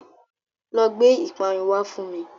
Lọ gbé ìparun wá fún mi.